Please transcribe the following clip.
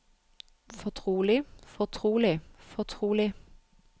fortrolig fortrolig fortrolig